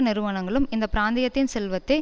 நிறுவனங்களும் இந்த பிராந்தியத்தின் செல்வத்தை